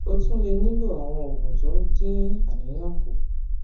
o tún lè nílò àwọn oògùn tó ń dín àníyàn kù